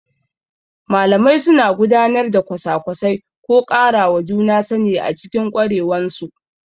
Malamai sukan gudanar da kwasa-kwasai ko ƙarawa juna sani a cikin ƙwarewansu.